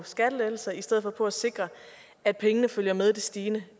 skattelettelser i stedet for på at sikre at pengene følger med det stigende